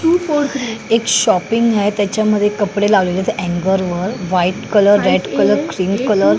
एक शॉपिंग आहे त्याच्यामध्ये कपडे लागलेत अंगल वर white colour red colour cream colour --